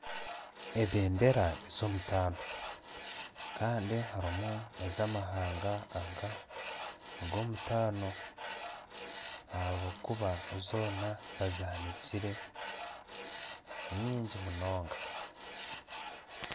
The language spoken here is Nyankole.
Ebendera ez'omutaano, kandi harimu ez'amahanga aga ag'omutaano, ahabw'okuba zoona bazihanikire. Ni nyingi munonga.